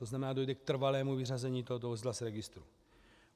To znamená, dojde k trvalému vyřazení tohoto vozidla z registru.